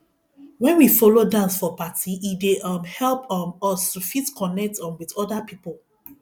when we follow dance for party e dey um help um us to fit connect um with oda pipo